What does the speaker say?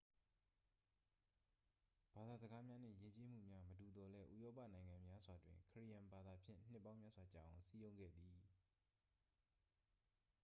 ဘာသာစကားများနှင့် ယဉ်ကျေးမှုများ မတူသော်လည်း ဥရောပနိုင်ငံများစွာတွင် ခရစ်ယာန်ဘာသာဖြင့် နှစ်ပေါင်းများစွာကြာအောင် စည်းရုံးခဲ့သည်